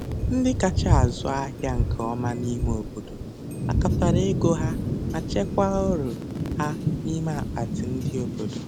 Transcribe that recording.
Ndị kacha azụ ahịa nke ọma n'ime obodo, kpakọtara ego ha ma chekwaa uru ha n'ime akpati ndị obodo.